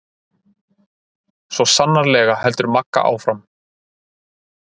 Svo sannarlega, heldur Magga áfram.